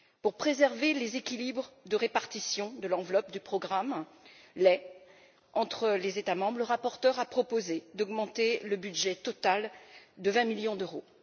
Afin de préserver les équilibres de répartition de l'enveloppe du programme lait entre les États membres, le rapporteur a proposé d'augmenter le budget total de 20 millions d'euros.